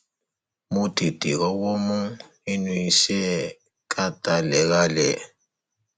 mo tètè rọwọ mú nínú iṣẹ ká talérálẹ